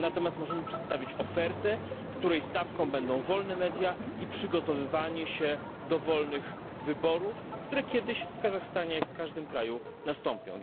Natomiast możemy przedstawić ofertę, której stawką będą wolne media i przygotowywanie się do wolnych wyborów, które kiedyś w Kazachstanie, jak w każdym innym kraju, nastąpią.